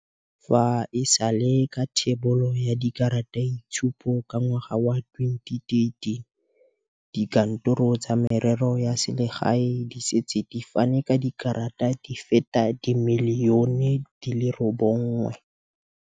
Mowa o wa go foka tota o ne wa phatlalatsa maru.